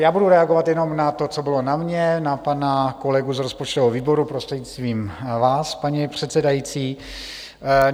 Já budu reagovat jenom na to, co bylo na mě, na pana kolegu z rozpočtového výboru, prostřednictvím vás, paní předsedající.